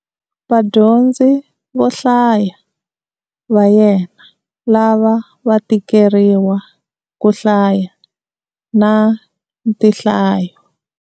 Vadyondzi vo hlaya va yena lava va tikeriwa ku hlaya na tinhlayo.